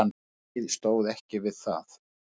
Byrgið stóð ekki við það.